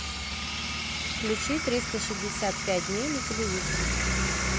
включи триста шестьдесят пять дней на телевизоре